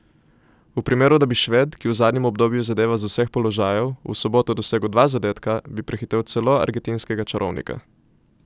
V primeru, da bi Šved, ki v zadnjem obdobju zadeva z vseh položajev, v soboto dosegel dva zadetka, bi prehitel celo argentinskega čarovnika.